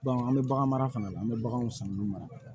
an bɛ bagan mara fana an bɛ baganw san olu mara